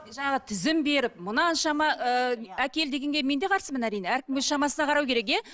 жаңағы тізім беріп мынаншама ыыы әкел дегенге мен де қарсымын әрине әркім өз шамасына қарау керек иә